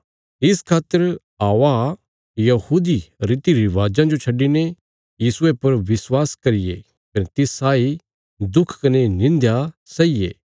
इस खातर औआ यहूदी रीतिरिवाजां जो छड्डिने यीशुये पर विश्वास करिये कने तिस साई दुख कने निंध्या सैईये